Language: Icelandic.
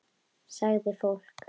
Sagði fólk.